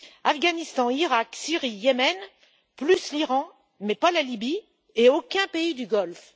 Afghanistan, Iraq, Syrie, Yémen plus l'Iran, mais pas la Libye et aucun pays du Golfe.